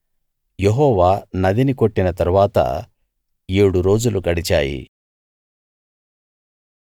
యెహోవా నదిని కొట్టిన తరువాత ఏడు రోజులు గడిచాయి